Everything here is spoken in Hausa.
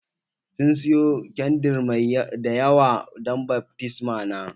Sun sayo kyandir dayawa dan baftisma na